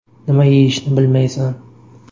Nima yeyishni bilmaysan.